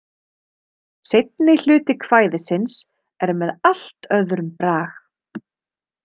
Seinni hluti kvæðisins er með allt öðrum brag.